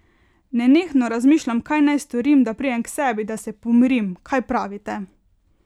Nenehno razmišljam, kaj naj storim, da pridem k sebi, da se pomirim, kaj pravite?